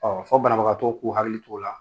Ɔ fɔ banabagatɔw k'u hakili t'o la.